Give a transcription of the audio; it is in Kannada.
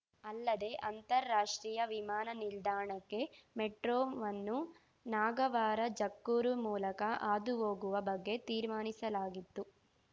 ಅಲ್ಲದೇ ಅಂತರಾಷ್ಟ್ರೀಯ ವಿಮಾನ ನಿಲ್ದಾಣಕ್ಕೆ ಮೆಟ್ರೋವನ್ನು ನಾಗವಾರ ಜಕ್ಕೂರು ಮೂಲಕ ಹಾದು ಹೋಗುವ ಬಗ್ಗೆ ತೀರ್ಮಾನಿಸಲಾಗಿತ್ತು